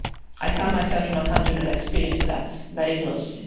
I come myself from a country that experienced that, very closely.